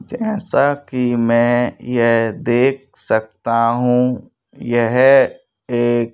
जैसा कि मैं यह देख सकती हूं यह एक--